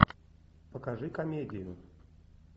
покажи комедию